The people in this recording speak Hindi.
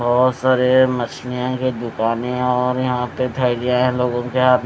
बहोत सारे मछलियाँ की दुकाने है और यहां पे थैलियां है लोगो के हाथ मे--